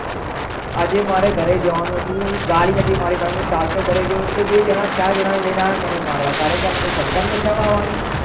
આજે મારે ઘરે જવાનુ હતું ગાડી નથી મારે પાસે હું ચાલતો ઘરે જયુ એ બે જણા ચાર જણા ને લઈને આવે મને મારવા ત્યારે મન સરકાર બચાવી આવવાની